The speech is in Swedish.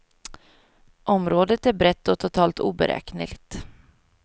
Området är brett och totalt oberäkneligt.